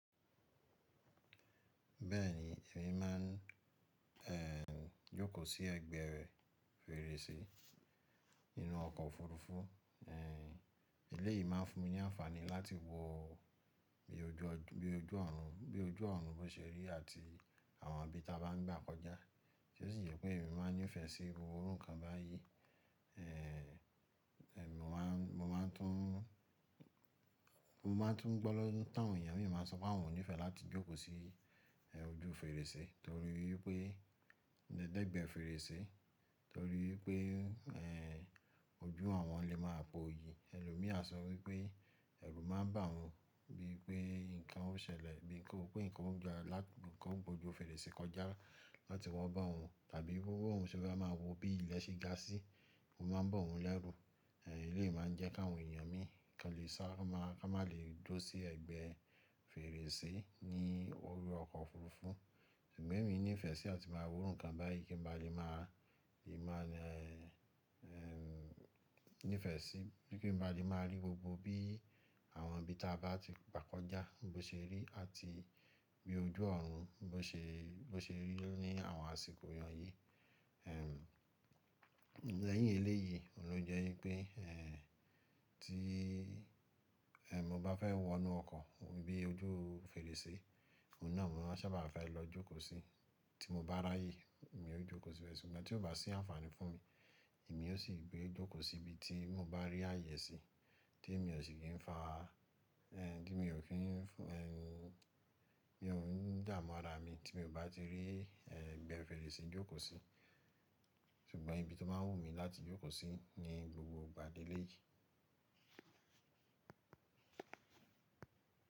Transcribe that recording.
Bẹ́ẹ̀ni, èmi máa ń jókòó sí ẹ̀gbẹ́ rẹ̀ fèrèsé inú ọkọ̀ òfuurufú. Eléyìí máa fún mi ní àǹfàní láti wo bí ojú ọ̀run, bí ojú ọ̀run bó se rí àti àwọn ibi ta bá ń gbà kọjá. Tí ó sì jé pé èmi máa ń nífẹ̀ẹ́ sí gbogbo iru nkan báyìí. Mo máa mo máa tún mo máa tún gbọ́ lọ́wọ́ táwọn èèyàn mi máa ń sọ pé wọ́n ò nífẹ̀ẹ́ láti jókòó sí ojú fèrèsé torí wipé lè dẹ́gbẹ́ fèrèsé, torí pé ojú awọn lè máa po yí. Ẹlòmí à sọ wípé ẹ̀rù máa ń bà wọ́n bí pé nǹkan ó ṣẹlẹ̀, bí pé nǹkan ò gba lá ti nǹkan ò bo ojú fèrèsé kọjá láti wọ́n bá wọn tàbí gbogbo ohun tí ó bá máa wo bí ilẹ̀ ṣe ga sí, ó máa ń bọ̀ wọ́n lẹ́rù. Elé yìí máa ń jẹ́ káwọn èèyàn mi kan lè sá, ká má lè duro sí ẹ̀gbẹ́ fèrèsé ní orí ọkọ̀ òfuurufú. Ṣùgbọ́n èmi nífẹ̀ẹ́ sí à ti máa wo iru nkan báyìí kí n ba le máa le máa nífẹ̀ẹ́ sí bí kí n ba le máa rí gbogbo bí àwọn ibi ta bá ti gbà kọjá bó ṣe rí àti bí ojú ọ̀run bó ṣe bó ṣe rí ní àwọn àsìkò ìran yìí. Lẹ́yìn ilé yìí, òun ló jẹ́ wípé tí mo bá fẹ́ wọnú ọkọ̀ bí ojú fèrèsé, òun náà ni mo máa sábà fẹ́ lọ jókòó sí. Tí mo bá ráyè, èmi ó jókòó síbẹ̀ sì, ṣùgbọ́n tí ó bá sí àǹfàní fún mi, èmi ó sì gbé jókòó sí ibi tí mo bá rí àyè sí tí èmi ò sì kí ń fa, tí èmi ò kí ń bí òun dààmú ara mi tí èmi ò bá ti rí ẹ̀gbẹ́ fèrèsé jókòó sí. Ṣùgbọ́n ibi tí ó máa wù mí láti jókòó sí ni gbogbo ìgbà lélé yìí.